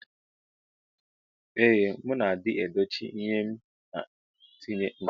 Ee mu na adi edochi ihe m na atinye ncha.